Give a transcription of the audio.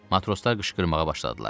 Matroslar qışqırmağa başladılar.